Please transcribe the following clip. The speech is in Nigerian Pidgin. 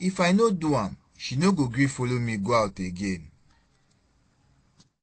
if I no do am she no go gree follow me go out again